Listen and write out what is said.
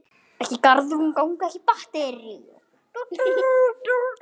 Síðari hluti